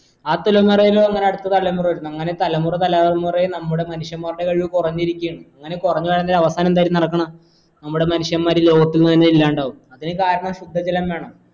ആ തലമുറയിന്നു അങ്ങന അടുത്ത തലമുറ വരുന്നേ അങ്ങനെ തലമുറ തലമുറെ നമ്മുടെ മനുഷ്യൻ മാരുടെ കഴിവ് കുറഞ്ഞിരിക്കെണ് അങ്ങനെ കുറഞ്ഞ് പോയാൽ അവസാനം എന്തായിരിക്കും നടക്കണേ നമ്മുടെ മനുഷ്യൻമാർ ഈ ലോകത്തിന്ന് തന്നെ ഇല്ലണ്ടാവും അതിന് കാരണം ശുദ്ധ ജലം വേണം